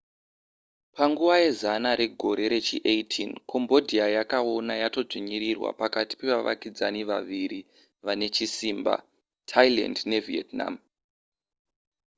panguva yezana regore rechi18 cambodia yakaona yatodzvinyirirwa pakati pevavakidzani vaviri vane chisimba thailand nevietnam